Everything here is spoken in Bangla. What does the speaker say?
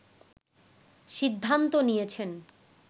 সিদ্ধান্ত নিয়েছেন